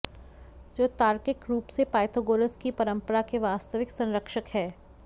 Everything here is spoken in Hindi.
जो तार्किक रूप से पाइथोगोरस की परम्परा के वास्तविक संरक्षक हैं